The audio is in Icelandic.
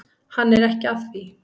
Hann er ekki að því.